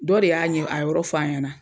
Dɔ de y'a ɲɛ a yɔrɔ f'a ɲɛna.